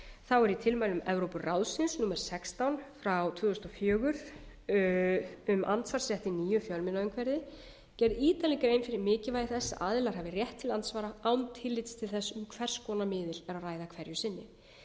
þá er í tilmælum evrópuráðsins númer sextán tvö þúsund og fjögur um andsvarsrétt í nýju fjölmiðlaumhverfi gerð ítarleg grein fyrir mikilvægi þess að aðilar hafi rétt til andsvara án tillits til þess um hvers konar miðil er að ræða hverju sinni